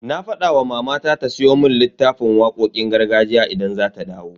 Na fada wa mamana ta siyo mun littafin waƙoƙin gargajiya idan za ta dawo.